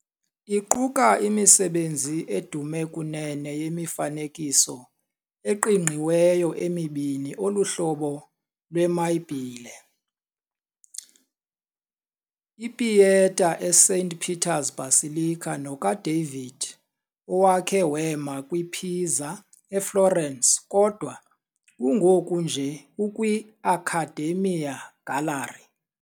Iquka imisebenzi edume kunene yemifanekiso eqingqiweyo emibini eluhlobo lwemayibhile, "IPieta" eSaint Peter's Basilica noka"David" owakhe wema kwipizza eFlorence kodwa kungoku nje ukwiAccademia Gallery.